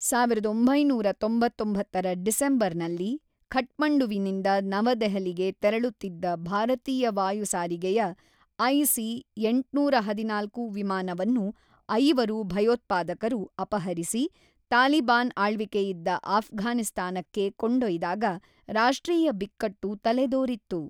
ಸಾವಿರದ ಒಂಬೈನೂರ ತೊಂಬತ್ತೊಂಬತ್ತರ ಡಿಸೆಂಬರ್ ನಲ್ಲಿ ಕಠ್ಮಂಡುವಿನಿಂದ ನವದೆಹಲಿಗೆ ತೆರಳುತ್ತಿದ್ದ ಭಾರತೀಯ ವಾಯುಸಾರಿಗೆಯ ಐಸಿ ಎಂಟುನೂರ ಹದಿನಾಲ್ಕು ವಿಮಾನವನ್ನು ಐವರು ಭಯೋತ್ಪಾದಕರು ಅಪಹರಿಸಿ ತಾಲಿಬಾನ್ ಆಳ್ವಿಕೆಯಿದ್ದ ಆಫ್ಘಾನಿಸ್ತಾನಕ್ಕೆ ಕೊಂಡೊಯ್ದಾಗ ರಾಷ್ಟ್ರೀಯ ಬಿಕ್ಕಟ್ಟು ತಲೆದೋರಿತ್ತು.